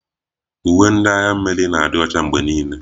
Uwe ndị agha mmiri na-adị Ọcha mgbe niile.